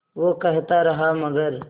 वो कहता रहा मगर